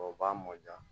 O b'a mɔ diya